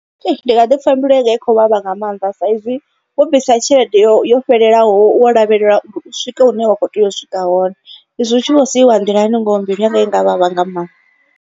Hei ndi nga ḓi pfha mbilu yanga i khou vhavha nga maanḓa saizwi wo bvisa tshelede yo yo fhelelaho wo lavhelela uri u swike hune wa kho tea u swika hone. Izwi u tshi vho siiwa nḓilani ngoho mbilu yanga i nga vhavha nga maanḓa.